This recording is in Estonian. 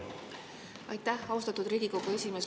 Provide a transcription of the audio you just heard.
Aitäh, austatud Riigikogu esimees!